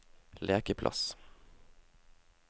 lekeplass